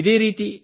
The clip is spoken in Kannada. ಇದೇ ರೀತಿ